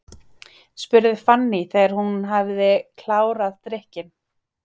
spurði Fanný þegar hún hafði klárað drykkinn.